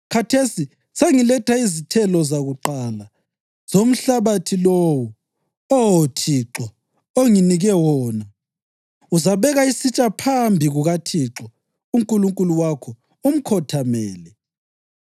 khathesi sengiletha izithelo zakuqala zomhlabathi lowo, Oh Thixo, onginike wona.’ Uzabeka isitsha phambi kukaThixo uNkulunkulu wakho umkhothamele.